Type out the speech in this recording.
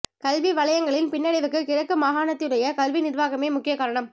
கல்வி வலயங்களின் பின்னடைவுக்கு கிழக்கு மாகாணத்தினுடைய கல்வி நிர்வாகமே முக்கிய காரணம்